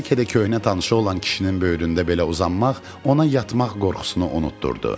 Bəlkə də köhnə tanışı olan kişinin böyründə belə uzanmaq ona yatmaq qorxusunu unutdurdu.